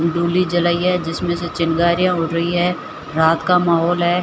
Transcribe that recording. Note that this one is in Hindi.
डोली जलाई है जिसमें से चिंगारियां उड़ रही है रात का माहौल है।